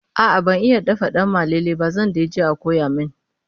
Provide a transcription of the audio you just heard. a'a ban iya dafa danmalele ba zan daije a koya min